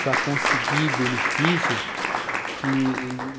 para conseguir benefício que,